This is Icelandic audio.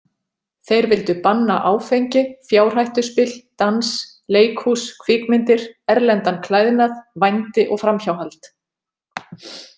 Þeir vildu banna áfengi, fjárhættuspil, dans, leikhús, kvikmyndir, erlendan klæðnað, vændi og framhjáhald.